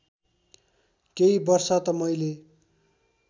केही वर्ष त मैले